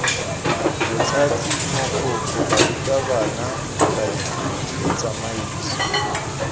bothati mogokgo barutabana baithuti tsamaiso